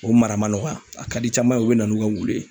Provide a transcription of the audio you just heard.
O mara ma nɔgɔya a ka di caman ye ,u be na n'u ka wulu ye.